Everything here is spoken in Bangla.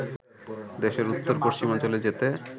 দেশের উত্তর পশ্চিমাঞ্চলে যেতে